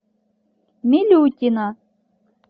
милютина